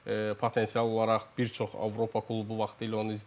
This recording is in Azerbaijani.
Potensial olaraq bir çox Avropa klubu vaxtilə onu izləyirdi.